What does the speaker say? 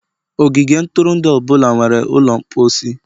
ogige ntụrụndụ ọ bụla nwere ụlọ mposi.